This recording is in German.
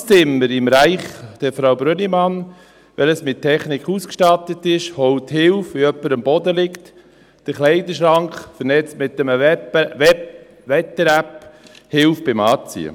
Das Alterszimmer im Reich der Frau Brönnimann, welches mit Technik ausgestattet ist, holt Hilfe, wenn jemand am Boden liegt, der Kleiderschrank verbunden mit einem Wetter-App hilft beim Anziehen.